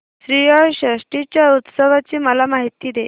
श्रीयाळ षष्टी च्या उत्सवाची मला माहिती दे